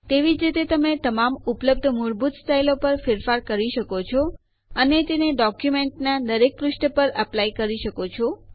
તેવી જ રીતે તમે તમામ ઉપલબ્ધ મૂળભૂત સ્ટાઈલો પર ફેરફારો કરી શકો છો અને તેને ડોક્યુંમેન્ટના દરેક પુષ્ઠો પર એપ્લાય લાગુ કરવું કરી શકો છો